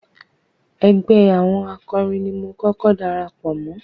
Ẹgbẹ́ àwọn akọrin ni mo kọ́kọ́ darapọ̀ mọ́.